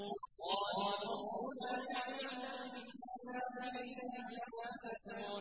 قَالُوا رَبُّنَا يَعْلَمُ إِنَّا إِلَيْكُمْ لَمُرْسَلُونَ